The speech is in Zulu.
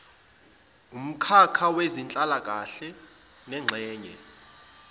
wumkhakha wezenhlalakahle lengxenye